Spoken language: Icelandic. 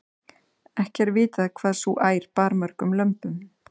ekki er vitað hvað sú ær bar mörgum lömbum